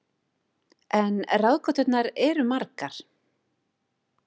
En ráðgáturnar eru margar.